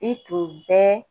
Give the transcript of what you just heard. I tun bɛ